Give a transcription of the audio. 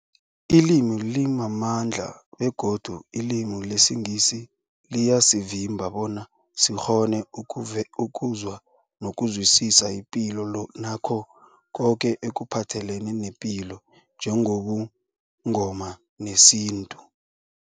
Ilimi limamandla begodu ilimi lesiNgisi liyasivimba bona sikghone ukuzwa nokuzwisisa ipilo nakho koke ekuphathelene nepilo njengobuNgoma nesintu.